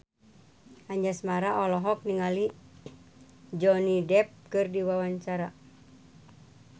Anjasmara olohok ningali Johnny Depp keur diwawancara